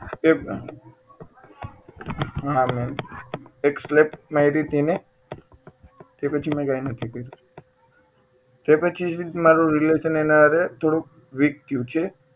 એ હા મેમ એક slap મારીતી ને એ પછી મેં કાય નથી કર્યું તે પછી જ મારુ relation એના હારે થોડુંક weak થયું છે